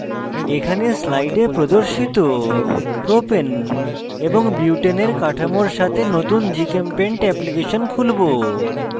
এখানে slide প্রদর্শিত propane এবং বিউটেনের কাঠামোর সাথে নতুন gchempaint অ্যাপ্লিকেশন খুলবো